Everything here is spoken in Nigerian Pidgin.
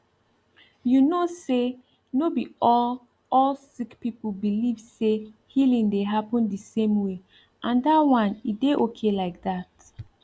you know say no be all all sick people believe say healing dey happen the same way and that one e dey okay like that